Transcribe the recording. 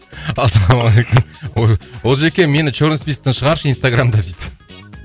ассалаумағалейкум олжеке мені черный списоктан шығаршы инстаграмда дейді